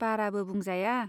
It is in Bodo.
बाराबो बुंजाया।